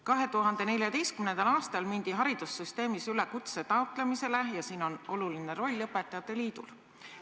2014. aastal mindi haridussüsteemis üle kutse taotlemisele ja siin on oluline roll õpetajate liidul.